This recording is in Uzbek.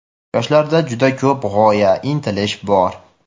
Yoshlarda juda ko‘p g‘oya, intilish bor.